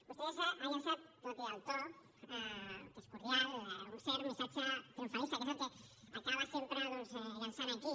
vostè ha llançat tot i el to que és cordial un cert missatge triomfalista que és el que acaba sempre doncs llançant aquí